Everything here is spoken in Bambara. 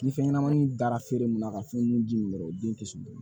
Ni fɛn ɲɛnamaw dara feere mun na ka fɛn mun ji min yɔrɔ o den tɛ sɔn